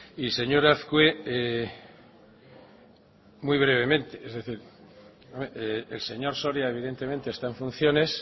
y señor azkue muy brevemente es decir el señor soria evidentemente está en funciones